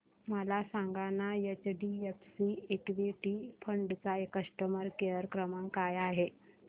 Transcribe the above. मला सांगाना HDFC equity fund चा कस्टमर केअर क्रमांक काय आहे